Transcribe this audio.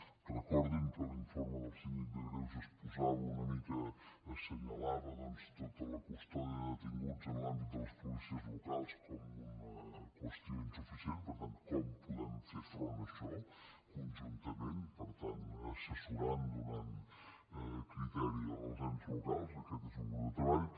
recordin que l’informe del síndic de greuges posava una mica assenyalava tota la custòdia de detinguts en l’àmbit de les policies locals com una qüestió insuficient per tant com podem fer front a això conjuntament per tant assessorant donant criteri als ens locals aquest és un grup de treball